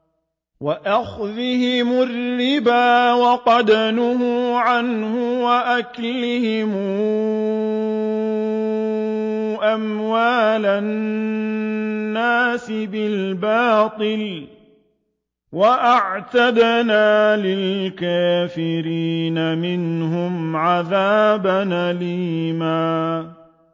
وَأَخْذِهِمُ الرِّبَا وَقَدْ نُهُوا عَنْهُ وَأَكْلِهِمْ أَمْوَالَ النَّاسِ بِالْبَاطِلِ ۚ وَأَعْتَدْنَا لِلْكَافِرِينَ مِنْهُمْ عَذَابًا أَلِيمًا